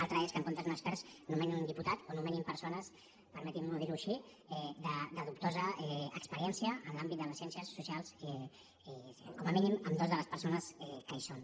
altra cosa és que en lloc d’un expert nomenin un diputat o nomenin persones permetin me dir ho així de dubtosa experiència en l’àmbit de les ciències socials com a mínim en dues de les persones que hi són